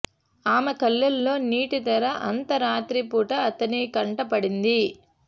ఆమె కళ్ళల్లో నీటి తెర అంత రాత్రి పూట అతని కంట పడింది